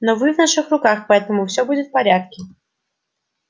но вы в наших руках поэтому все будет в порядке